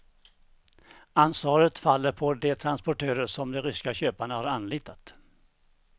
Ansvaret faller på de transportörer som de ryska köparna har anlitat.